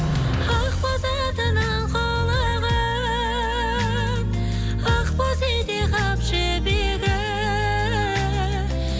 ақ бозатының құлығын ақ боз ете қап жібегі